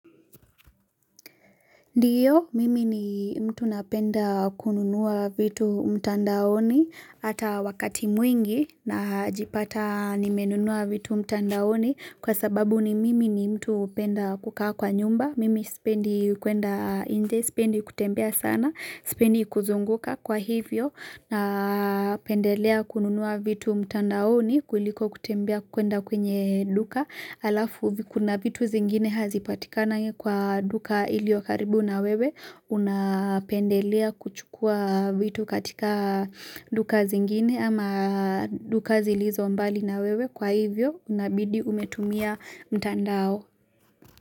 Ndio, mimi ni mtu napenda kununua vitu mtandaoni ata wakati mwingi najipata nimenunua vitu mtandaoni kwa sababu ni mimi ni mtu penda kukaa kwa nyumba. Mimi sipendi kuenda inje, sipendi kutembea sana, sipendi kuzunguka kwa hivyo na pendelea kununua vitu mtandaoni kuliko kutembea kuenda kwenye duka. Alafu kuna vitu zingine hazipatikanangi kwa duka ilio karibu na wewe unapendelea kuchukua vitu katika duka zingine ama duka zilizo mbali na wewe kwa hivyo unabidi umetumia mtandao.